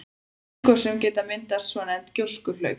Í eldgosum geta myndast svonefnd gjóskuhlaup.